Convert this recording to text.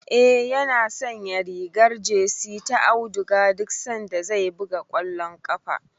Eh, yana sanya rigar jesi ta auduga duk sanda zai buga kwallon ƙafa.